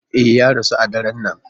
E, ya rasu a daren nan.